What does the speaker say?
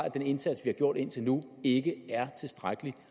at den indsats vi har gjort indtil nu ikke er tilstrækkelig